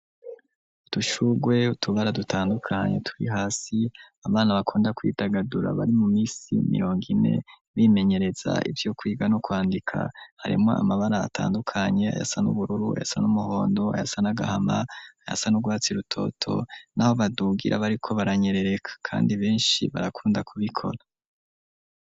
Udushurwe, utubara dutandukanye, turi hasi; abana, bakunda kwidagadura, bari mu minsi, mirongo ine, bimenyereza, ivyo kwiga, no kwandika; harimwo amabara, atandukanye, ayasa n'ubururu, ayasa n'umuhondo, ayasa n'agahama, ayasa n’urwatsi irutoto; n'aho badugira, bariko baranyerereka, kandi benshi, barakunda kubikora.